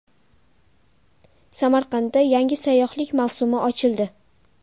Samarqandda yangi sayyohlik mavsumi ochildi.